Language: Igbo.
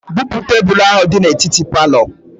Bupu tebelu ahụ dị n'etiti palọ